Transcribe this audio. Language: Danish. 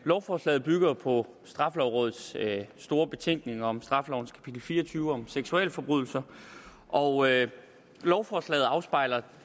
lovforslaget bygger jo på straffelovrådets store betænkning om straffelovens kapitel fire og tyve om seksualforbrydelser og lovforslaget afspejler